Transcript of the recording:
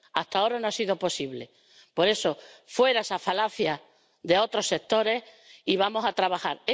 Hasta ahora no ha sido posible. Por eso, fuera esa falacia de otros sectores y vamos a trabajar.